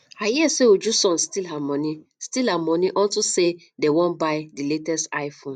i hear say uju son steal her money steal her money unto say the wan buy the latest iphone